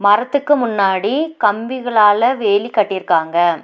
மரத்துக்கு முன்னாடி கம்பிகளால வேலி கட்டிருக்காங்க.